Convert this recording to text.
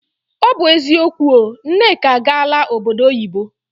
O bu eziokwu o, Nneka agaala obodo oyibo.